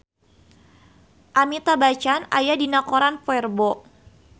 Amitabh Bachchan aya dina koran poe Rebo